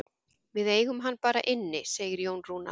Við eigum hann bara inni, segir Jón Rúnar.